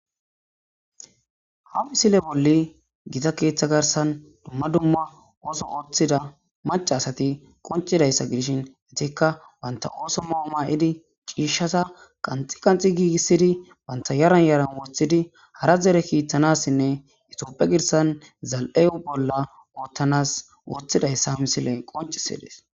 Ha misile bolli gita keeththa garsan dumma dumma ooso ooththida mac asati qoncidayssa gidishin atikka banta ooso mau ma7idi ciishshata qanxi qanxi giigissidi banta yaran yaran woththidi hara zere kiittanassinne itiopphe girsan zal'eu bolla oottanas woththidayssa misile qoncisides.